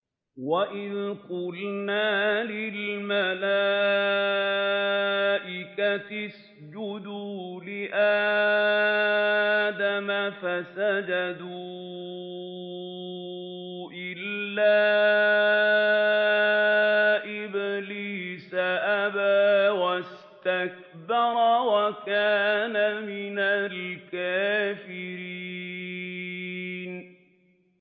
وَإِذْ قُلْنَا لِلْمَلَائِكَةِ اسْجُدُوا لِآدَمَ فَسَجَدُوا إِلَّا إِبْلِيسَ أَبَىٰ وَاسْتَكْبَرَ وَكَانَ مِنَ الْكَافِرِينَ